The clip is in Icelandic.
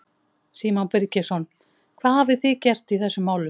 Símon Birgisson: Hvað hafið þið gert í þessum máli?